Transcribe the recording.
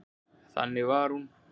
Þannig var hún.